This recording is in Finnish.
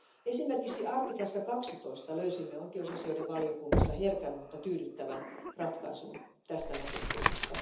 Esimerkiksi artiklassa 12 löysimme oikeusasioiden valiokunnassa herkän, mutta tyydyttävän ratkaisun tästä näkökulmasta.